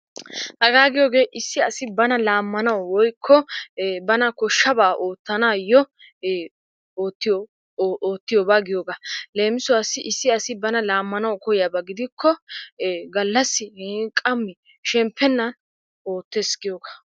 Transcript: Hagaa giyogee issi asi bana laammanaw woykko bana koshshabaa oottanaayyo oottiyobaa giyogaa. Leem, issi asi bana laammanawu kiyiyaba gidikko gallassi qammi shemppennan oottees giyogaa.